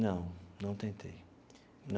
Não, não tentei.